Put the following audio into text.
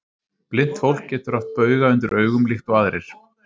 Blint fólk getur haft bauga undir augum líkt og aðrir.